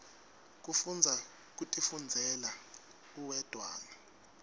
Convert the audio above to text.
kufundza kutifundzela uwedwana